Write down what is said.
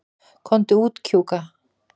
Komdu út, Kjúka.